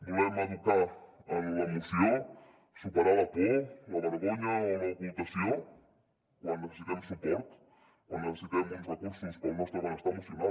volem educar en l’emoció superar la por la vergonya o l’ocultació quan necessitem suport quan necessitem uns recursos pel nostre benestar emocional